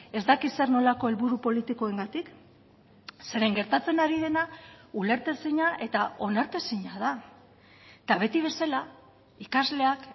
ez dakit zer nolako helburu politikoengatik zeren gertatzen ari dena ulertezina eta onartezina da eta beti bezala ikasleak